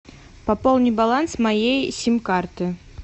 пополни баланс моей сим карты